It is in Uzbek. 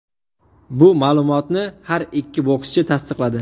Bu ma’lumotni har ikki bokschi tasdiqladi .